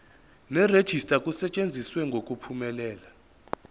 nerejista kusetshenziswe ngokuphumelela